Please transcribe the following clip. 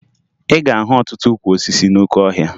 Ị ga-ahụ ọtụtụ ukwu osisi n'oke ọhịa